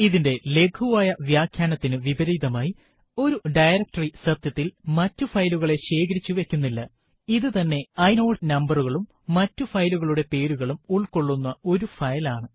ഇതിന്റെ ലഘുവായ വ്യാഖ്യാനത്തിനു വിപരീതമായി ഒരു ഡയറക്ടറി സത്യത്തിൽ മറ്റു ഫയലുകളെ ശേഖരിച്ചു വയ്ക്കുന്നില്ല ഇത് തന്നെ ഇനോട് നമ്പരകളും മറ്റു ഫയലുകളുടെ പേരുകളും ഉള്ക്കൊള്ളുന്ന ഒരു ഫയൽ ആണ്